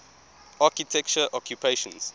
architecture occupations